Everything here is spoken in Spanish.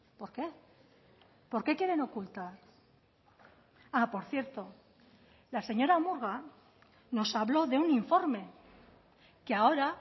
por qué por qué quieren ocultar ah por cierto la señora murga nos habló de un informe que ahora